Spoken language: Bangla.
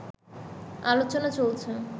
আলোচনা চলছে